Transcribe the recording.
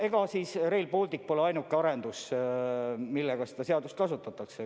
Ega Rail Baltic pole ainuke arendus, milleks seda seadust kasutatakse.